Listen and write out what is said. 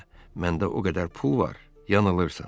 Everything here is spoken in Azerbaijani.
məndə o qədər pul var, yanılırsan.